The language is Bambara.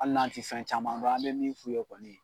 Hali n'an tɛ fɛn caman dɔn an bɛ min f'u ye kɔni.